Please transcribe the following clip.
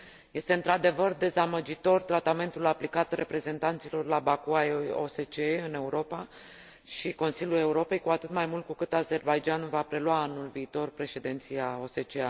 Este, într adevăr, dezamăgitor tratamentul aplicat reprezentanților la Baku ai OSCE în Europa și Consiliul Europei, cu atât mai mult cu cât Azerbaidjanul va prelua anul viitor președinția OSCE.